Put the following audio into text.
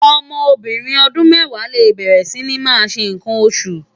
Òmò óbìrín òdún mèwá lé bèrè si ni má ṣé nkán óṣú